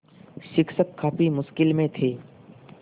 शिक्षक काफ़ी मुश्किल में थे